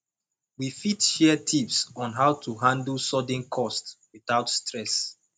we fit share tips on how to handle sudden costs without stress